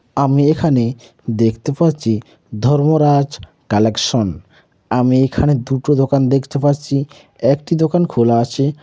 আমি এখানে দেখতে পাচ্ছি ধর্মরাজ কালেকশ্‌। আমি এখানে দুটো দোকান দেখতে পাচ্ছি একটি দোকান খোলা আছে।